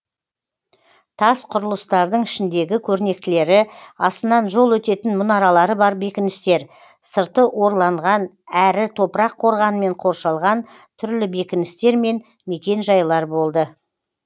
тас құрылыстардың ішіндегі көрнектілері астынан жол өтетін мұнаралары бар бекіністер сырты орланған әрі топырақ қорғанмен қоршалған түрлі бекіністер мен мекен жайлар болды